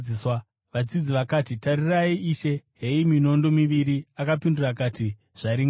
Vadzidzi vakati, “Tarirai, Ishe, heyi minondo miviri.” Akapindura akati, “Zvaringana.”